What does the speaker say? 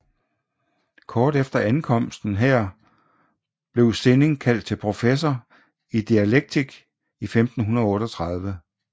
Kort efter ankomsten her til blev Sinning kaldt til professor i dialektik i 1538